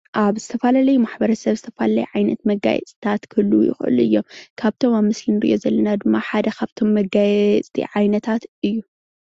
ኣብ ዝተፈላለዩ ማሕበረሰብ ዝተፈላለየ ዓይነት ማጋየፅታት ክህልዉ ይክእሉ እዮም፡፡ ካብቶም ምስሊ እንሪኦም ዘለና ድማ ሓደ ካብቶም መጋያየፅቲ ዓይነታት እዩ፡፡